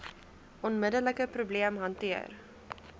onmiddelike probleem hanteer